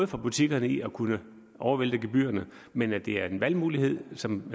for butikkerne i at kunne overvælte gebyrerne men at det er en valgmulighed som